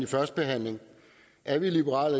førstebehandling er vi i liberal